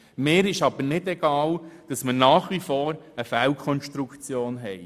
Es ist mir aber nicht egal, dass wir nach wie vor eine Fehlkonstruktion haben: